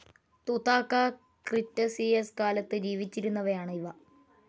തുതാക്ക Cretaceous കാലത്ത് ജീവിച്ചിരുന്നവയാണ് ഇവ.